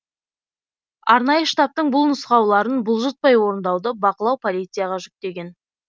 арнайы штабтың бұл нұсқауларын бұлжытпай орындауды бақылау полицияға жүктелген